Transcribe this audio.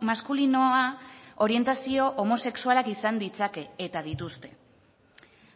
maskulinoa orientazio homosexualak izan ditzake eta dituzte